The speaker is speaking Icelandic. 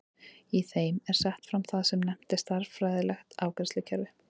Í þeim er sett fram það sem nefnt er stærðfræðilegt afleiðslukerfi.